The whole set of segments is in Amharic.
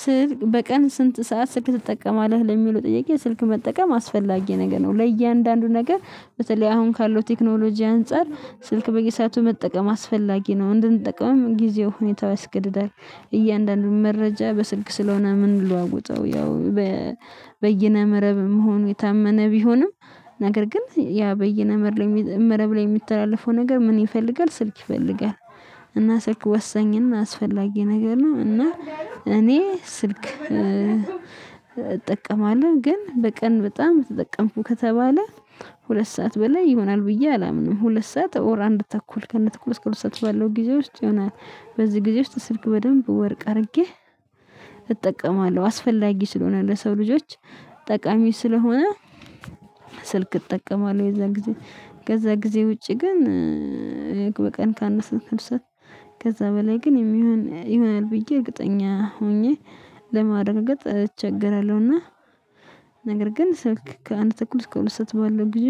ስልክ በቀን ስንት ሰዓት ስልክ ትጠቀማለህ ለሚለው ጥያቄ ስልክ መጠቀም አስፈላጊ ነገር ነው? ለእያንዳንዱ ነገር በተለይ አሁን ካለው ቴክኖሎጂ አንፃር ስልክ በየሰአቱ መጠቀም አስፈላጊ ነው እንድንጠቅምም ጊዜው ሁኔታ ያስገድዳል። እያንዳንዱን መረጃ በስልክ ስለሆነ ምንለዋውጠው ያው በየነ መረብ መሆኑ የታመነ ቢሆንም። ነገር ግን ያ በየነመረብ መረብ ላይ የሚተላለፈው ነገር ምን ይፈልጋል ስልክ ይፈልጋል? እና ስልክ ወሳኝና አስፈላጊ ነገር ነው። እና እኔ ስልክ እጠቀማለሁ ግን በቀን በጣም ተጠቀምኩ ከተባለ ሁለት ሰዓት በላይ ይሆናል ብዬ አላምንም ሁለት ሰዓት ኦር አንድ ተኩል ከነ ተኩል እስከ ሁለት ሰዓት ባለው ጊዜ ውስጥ ይሆናል። በዚህ ጊዜ ውስጥ ስልክ በደንብ ወርቅ አድርጌ እጠቀማለሁ አስፈላጊ ስለሆነ ለሰው ልጆች ጠቃሚ ስለሆነ። ስልክ እጠቀማለሁ የዛን ጊዜ ከዛ ጊዜ ውጪ ግን። በቀን ከአንድ ሰዓት ሁለት ሰዓት ከዛ በላይ ግን የሚሆን ይሆናል ብዬ እርግጠኛ ሆኜ ለማድረጋገጥ እቸገራለሁና። ነገር ግን ስልክ ከአንድ ተኩል እስከ ሁለት ሰዓት ባለው ጊዜ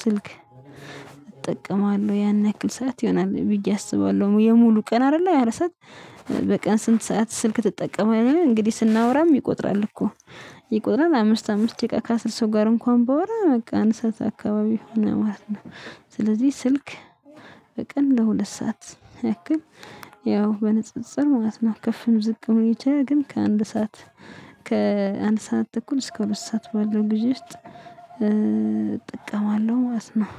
ስልክ እጠቀማለሁ ያን ያክል ሰዓት ይሆናል ብዬ አስባለሁ። የሙሉ ቀን አይደለ ያለ ያረሳት። በቀን ስንት ሰዓት ስልክ ትጠቀመለህ? እንግዲህ ስናወራም ይቆጥራል እኮ ይቆጥራል አምስት አምስት ደቂቃ ከአስር ሰው ጋር እንኳን ባወራ በቃ አንድ ሰዓት አካባቢ ሆነ ማለት ነው። ስለዚህ ስልክ በቀን ለሁለት ሰዓት ያክል ያው በንጽጽር ማለት ነው ከፍም ዝቅም ሊል ይችላል። ግን ከአንድ ሰዓት ከአንድ ሰዓት ተኩል እስከ ሁለት ሰዓት ባለው ጊዜ ውስጥ እጠቀማለሁ ማስነው